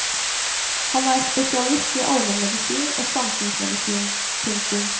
Han er spesialist i allmenmedisin og samfunnsmedisin. punktum